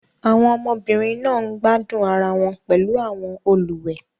Àwọn ọmọbìnrin náà ń gbádùn ara wọn pẹ̀lú àwọn olùwẹ̀